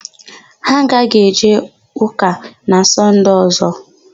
Ha aghaghị eje ụka na Sọnde ọ̀zọ́.